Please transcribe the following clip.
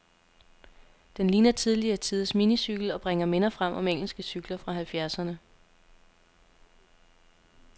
Den ligner tidligere tiders minicykel, og bringer minder frem om engelske cykler fra halvfjerdserne.